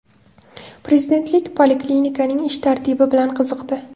Prezident poliklinikaning ish tartibi bilan qiziqdi.